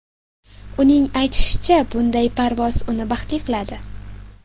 Uning aytishicha, bunday parvoz uni baxtli qiladi.